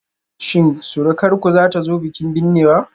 Shin surukarku zata zo bikin binnewa?